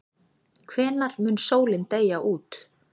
hvenær mun sólin deyja út